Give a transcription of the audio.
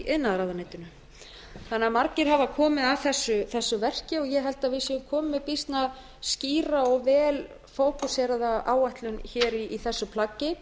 iðnaðarráðuneytinu þannig að margir hafa komið að þessu verki ég held að við séum komin með býsna skýra og vel fókuseraða áætlun hér í þessu plaggi